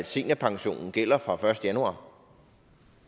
seniorpension gælder fra den første januar